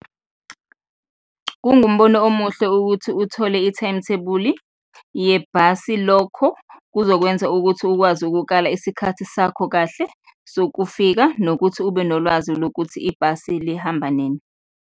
Kungumbono omuhle ukuthi uthole i-timetable-i yebhasi, lokho kuzokwenza ukuthi ukwazi ukukala isikhathi sakho kahle sokufika nokuthi ube nolwazi lokuthi ibhasi lihamba nini.